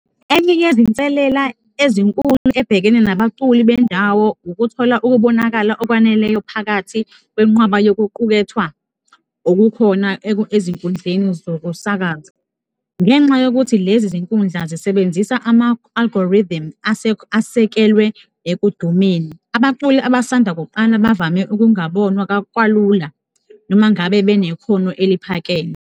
Enye yezinselela ezinkulu ebhekene nabaculi bendawo ukuthola ukubonakala okwaneleyo phakathi kwenqwaba yokuqukethwa okukhona ezinkundleni zokusakaza ngenxa yokuthi lezi zinkundla zisebenzisa ama-algorithm asekelwe ekudumeni. Abaculi abasanda kuqala bavame ukungabonwa kwalula noma ngabe benekhono eliphakeme.